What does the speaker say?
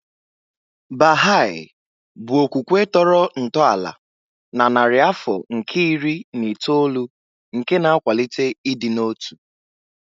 Baha'i bụ okwukwe tọrọ ntọala na narị afọ nke iri na itoolu nke na-akwalite ịdị n'otu.